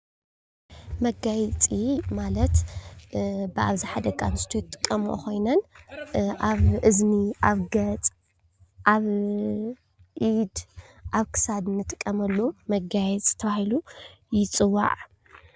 መጋየፂ ማለት ብኣብዝሓ ደቂ ኣንስትዮ ዝጥቐምኦ ኮይነን ኣብ እዝኒ፣ ኣብ ገፅ፣ ኣብ ኢድ፣ ኣብ ክሳድ ንጥቀመሉ መጋየፂ ተባሂሉ ይፅዋዕ፡፡